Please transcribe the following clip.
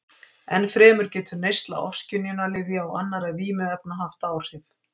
Ennfremur getur neysla ofskynjunarlyfja og annarra vímuefna haft áhrif.